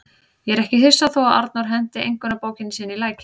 Ég er ekki hissa þó að Arnór henti einkunnabókinni sinni í lækinn.